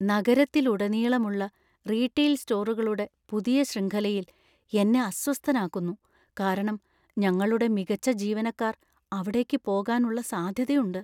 നഗരത്തിലുടനീളമുള്ള retail സ്റ്റോറുകളുടെ പുതിയ ശൃംഖലയിൽ എന്നെ അസ്വസ്ഥനാക്കുന്നു ,കാരണം ഞങ്ങളുടെ മികച്ച ജീവനക്കാർ അവിടേക്ക്‌ പോകാൻ ഉള്ള സാധ്യതയുണ്ട്.